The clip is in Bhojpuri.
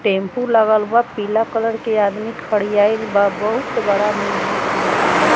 टेम्पू लगल बा पीला कलर के आदमी खडियायिल बा बहुत बड़ा मिजी माकन बा।